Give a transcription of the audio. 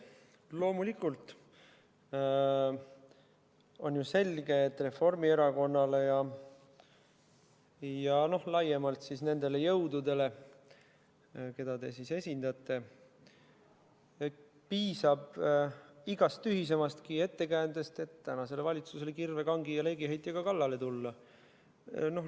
Loomulikult on ju selge, et Reformierakonnale ja laiemalt nendele jõududele, keda te esindate, piisab igast tühisemastki ettekäändest, et tänasele valitsusele kirve, kangi ja leegiheitjaga kallale tulla.